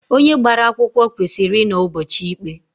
Onye gbara akwụkwọ kwesịrị inọ ụbọchị ikpe.